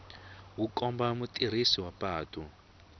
wu komba mutirhisi wa patu